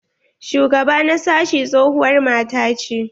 Shugaba na sashi tsohuwar mata ce.